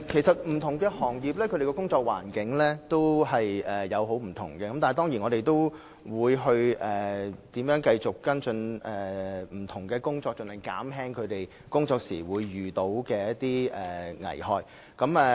不同行業的工作環境其實差別很大，但我們會繼續跟進，盡量減少各行各業僱員在工作時可能遇到的危害。